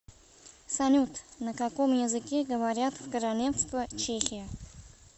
салют на каком языке говорят в королевство чехия